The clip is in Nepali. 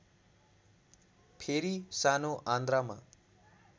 फेरि सानो आन्द्रामा